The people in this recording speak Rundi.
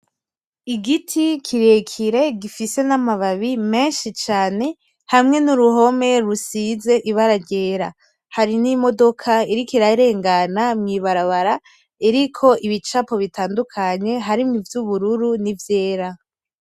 Igiti kirekire gifise n'amababi menshi cane hamwe nuruhome rusize ibara ryera , hari n,imodoka iriko irarengana mw'ibarabara iriko ibicapo bitandukanye harimwo ivyubururu nivyera .